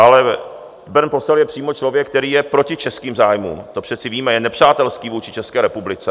Ale Bernd Posselt je přímo člověk, který je proti českým zájmům, to přece víme, je nepřátelský vůči České republice.